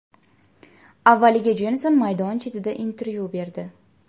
Avvaliga Jenson maydon chetida intervyu berdi.